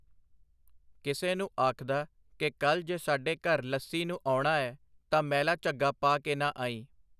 ਕਿਸੇ ਨੂੰ ਆਖਦਾ ਕਿ ਕੱਲ੍ਹ ਜੇ ਸਾਡੇ ਘਰ ਲੱਸੀ ਨੂੰ ਆਉਣਾ ਐ ਤਾਂ ਮੈਲਾ ਝੱਗਾ ਪਾ ਕੇ ਨਾ ਆਈਂ.